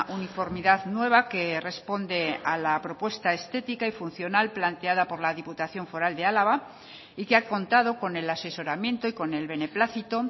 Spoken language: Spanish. uniformidad nueva que responde a la propuesta estética y funcional planteada por la diputación foral de álava y que ha contado con el asesoramiento y con el beneplácito